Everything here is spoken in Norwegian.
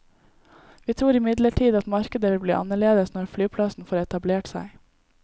Vi tror imidlertid at markedet vil bli annerledes når flyplassen får etablert seg.